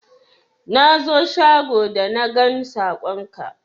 Na zo shago da na gan sakon ka